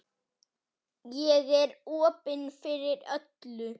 Ég er opin fyrir öllu.